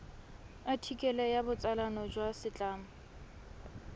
athikele ya botsalano jwa setlamo